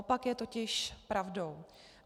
Opak je totiž pravdou.